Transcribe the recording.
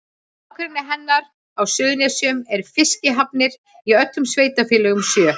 Í nágrenni hennar á Suðurnesjum eru fiskihafnir í öllum sveitarfélögunum sjö.